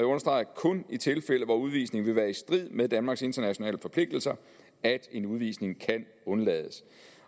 understreger kun i tilfælde hvor udvisningen vil være i strid med danmarks internationale forpligtelser at en udvisning kan undlades